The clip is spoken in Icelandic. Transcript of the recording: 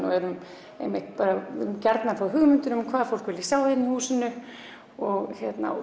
og viljum gjarnan fá hugmyndir um hvað fólk vilji sjá hér í húsinu og